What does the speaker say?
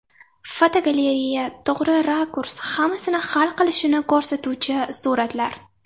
Fotogalereya: To‘g‘ri rakurs hammasini hal qilishini ko‘rsatuvchi suratlar.